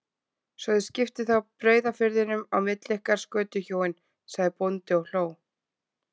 Svo þið skiptið þá Breiðafirðinum á milli ykkar, skötuhjúin, sagði bóndi og hló við.